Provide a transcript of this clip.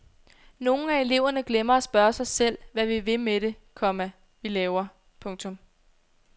Nogle af eleverne glemmer at spørge sig selv hvad vi vil med det, komma vi laver. punktum